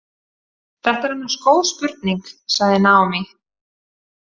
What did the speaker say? Þetta er annars góð spurning, sagði Naomi.